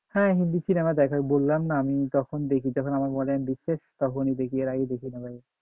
হ্যাঁ হিন্দি সিনেমা দেখা বললামনা তখন দেখি যখন বলে আমার তখনি দেখি এর আগে দেখিনা ভাই।